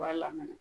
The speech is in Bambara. I b'a lamaga